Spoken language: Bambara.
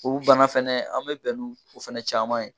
O bana fɛnɛ an mi bɛn ni o fɛnɛ caman ye